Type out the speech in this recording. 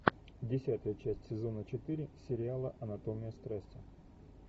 десятая часть сезона четыре сериала анатомия страсти